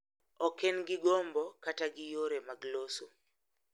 Ok en gi gombo kata gi yore mag loso.